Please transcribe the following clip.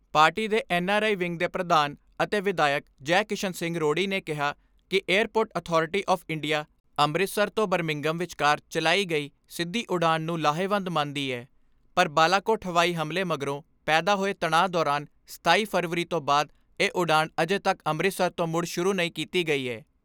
Party ਦੇ N R I wing ਦੇ ਪ੍ਰਧਾਨ ਅਤੇ ਵਿਧਾਇਕ ਜੈ ਕਿਸ਼ਨ ਸਿੰਘ ਰੋੜੀ ਨੇ ਕਿਹਾ ਕਿ airport authority of India Amritsar ਤੋਂ ਬਰਾਸਿੰਘਮ ਵਿਚਕਾਰ ਚਲਾਈ ਗਈ ਸਿੱਧੀ ਉਡਾਣ ਨੂੰ ਲਾਹੇਵੰਦ ਮੰਨਦੀ ਏ ਪਰ ਬਾਲਾਕੋਟ ਹਵਾਈ ਹਮਲੇ ਮਗਰੋਂ ਪੈਦਾ ਹੋਏ ਤਣਾਅ ਦੌਰਾਨ ਸਤਾਈ ਫਰਵਰੀ ਤੋਂ ਬੰਦ ਇਹ ਉਡਾਣ ਅਜੇ ਤੱਕ ਅੰਮ੍ਰਿਤਸਰ ਤੋਂ ਮੁੜ ਸ਼ੁਰੂ ਨਹੀਂ ਕੀਤੀ ਗਈ ਏ।